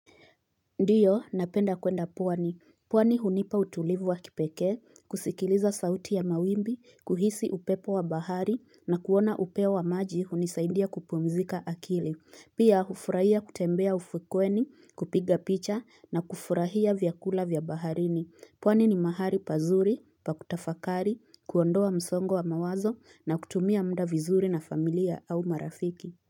Ndiyo napenda kwenda pwani pwani hunipa utulivu wa kipekee, kusikiliza sauti ya mawimbi, kuhisi upepo wa bahari, na kuona upeo wa maji hunisaindia kupumzika akili Pia hufurahia kutembea ufukweni, kupiga picha, na kufurahia vyakula vyabaharini pwani ni mahali pazuri, pakutafakari, kuondoa msongo wa mawazo, na kutumia mda vizuri na familia au marafiki.